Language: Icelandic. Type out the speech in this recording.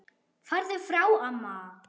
Farðu frá amma!